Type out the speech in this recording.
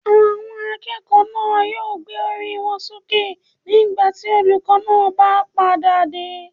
Àwọn akẹ́kọ̀ọ́ náà yóò gbé orí wọn sókè nígbà tí olùkó náà pá padà dé